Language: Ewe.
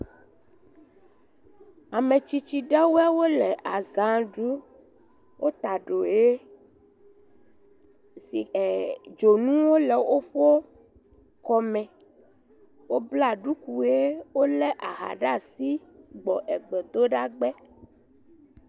Ametsitsi ɖewɔe wole aza ɖum, wota ɖo ʋe, si ee dzonuwo le woƒe ekɔme, wobla duku ʋe, wolé aha ɖe asi gbɔ egbe do ɖa gbe.